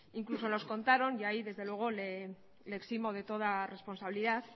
incluso nos contaron y ahí desde luego le eximo de toda responsabilidad